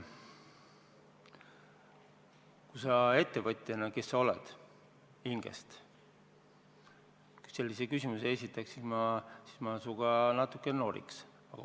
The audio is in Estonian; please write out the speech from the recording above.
Kui sa ettevõtjana, kes sa hinges oled, sellise küsimuse esitaksid, siis ma natuke noriks sinuga.